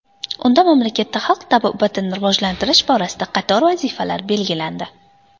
Unda mamlakatda xalq tabobatini rivojlantirish borasida qator vazifalar belgilandi.